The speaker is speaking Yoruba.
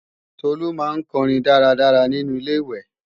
Tolu máa ń kọrin dára dára nínu Ilé-ìwẹ̀